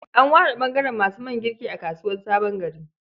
An ware ɓangaren masu man girki a kasuwar Sabon Gari.